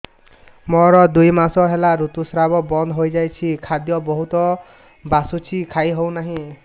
ମୋର ଦୁଇ ମାସ ହେଲା ଋତୁ ସ୍ରାବ ବନ୍ଦ ହେଇଯାଇଛି ଖାଦ୍ୟ ବହୁତ ବାସୁଛି ଖାଇ ହଉ ନାହିଁ